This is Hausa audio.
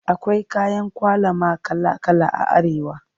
Akwai kayan ƙwalama kala kala a Arewa.